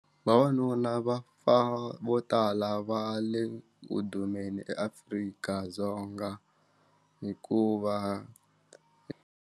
Vavanuna va fa vo tala va le ku dumeni eAfrika-Dzonga hikuva.